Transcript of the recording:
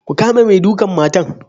Ku kama mai dukan matan.